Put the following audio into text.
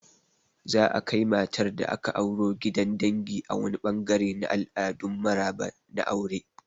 Za'a kai matar da aka auro gidan dangi a wani ɓangare na al'adun maraba na aure.